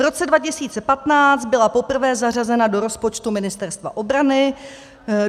V roce 2015 byla poprvé zařazena do rozpočtu Ministerstva obrany.